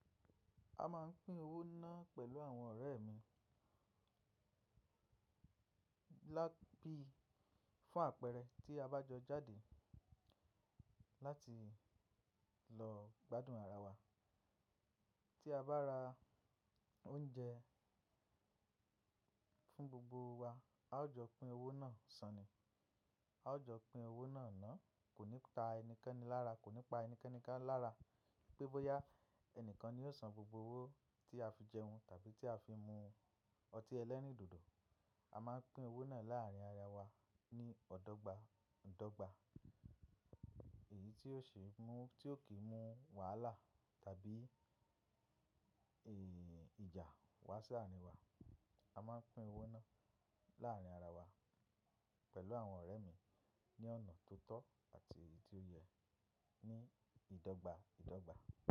A máa ń pín owó náà pẹ̀lú àwọn ọ̀rẹ́ mi bóyá bí fún àpẹẹrẹ, tí a bá jọ jáde láti lọ gbádùn ara wa. Tí a bá ra oúnjẹ fún gbogbo wa, a ó jọ pín owó náà sàn ni, a ó jọ pín owó náà ná, kò ní pa ẹnikẹ́ni lára, kò ní pa ẹnikẹ́ni kan lára pé bọ́yá ẹnìkan ni ó san gbogbo owó tí a fi jẹun tàbí tí a fi mu ọtí ẹlẹ́rìndòdò. A máa ń pín owó náà láàárín ara wa ní ọ́dọ́gba dọ́gba èyí tí ó ṣe mú tí ó kì í mú wàhálà tàbí ìjà wá sí àárín wa. A máa ń pín owó náà láàárín ara wa pẹ̀lú àwọn ọ̀rẹ́ mi ní ọ̀nà tó tọ́ àti èyí tó yẹ ní ìdọ́gba ìdọ́gba.